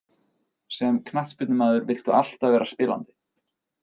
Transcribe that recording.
Sem knattspyrnumaður viltu alltaf vera spilandi.